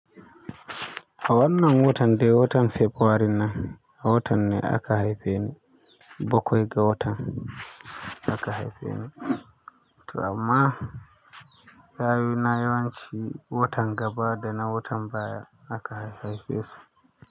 A wannan watan de, watan fabuwarin nan. A watan ne aka haife ni. Bakwai ga watan aka haife ni. Amma yayu na yawanci watan gaba dana watan baya aka haife su.